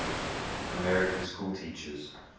american schoolteachers